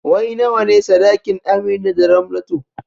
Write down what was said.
Wai nawane saɗakin Amina da Ramlatu?